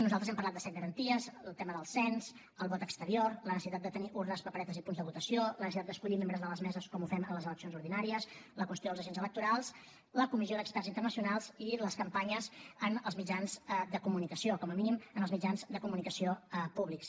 nosaltres hem parlat de set garanties el tema del cens el vot exterior la necessitat de tenir urnes paperetes i punts de votació la necessitat d’escollir membres de les meses com ho fem en les eleccions ordinàries la qüestió dels agents electorals la comissió d’experts internacionals i les campanyes en els mitjans de comunicació com a mínim en els mitjans de comunicació públics